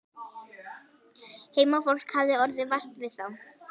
Heimafólk hafði orðið vart við þá.